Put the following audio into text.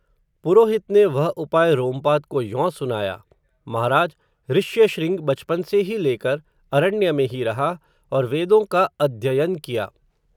पुरोहित ने, वह उपाय, रोमपाद को यों सुनाया, महाराज, ऋश्य शृंग, बचपन से ही लेकर, अरण्य में ही रहा, और वेदों का अध्ययन किया